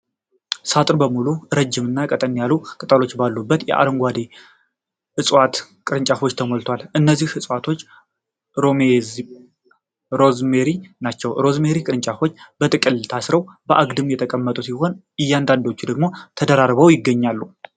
ሳጥኑ በሙሉ ረጅም እና ቀጠን ያሉ ቅጠሎች ባሉት የአረንጓዴ ዕፅዋት ቅርንጫፎች ተሞልቷል። እነዚህ ዕፅዋት ሮዝሜሪ ናቸው። የሮዝሜሪ ቅርንጫፎች በጥቅል ታስረው በአግድም የተቀመጡ ሲሆን፣ አንዳንዶቹ ደግሞ ተደራርበው ይገኛሉ።